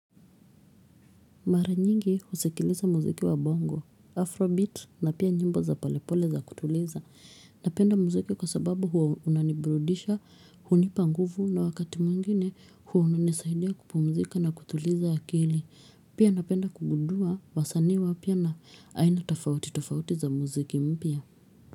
Mara nyingi husikiliza muziki wa bongo, afrobeat na pia nyimbo za polepole za kutuliza. Napenda muziki kwa sababu huwa unaniburudisha, hunipanguvu na wakati mwingine huwa unanisaidia kupumzika na kutuliza akili. Pia napenda kugudua, wasanii wa pya na ainatofauti tofauti za muziki mpya.